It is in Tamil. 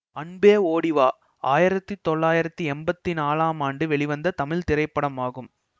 அன்பே ஓடி வா ஆயிரத்தி தொள்ளாயிரத்தி எம்பத்தி நான்லாம் ஆண்டு வெளிவந்த தமிழ் திரைப்படமாகும்